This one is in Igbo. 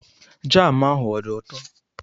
Jam ahụ ọ dị ụtọ?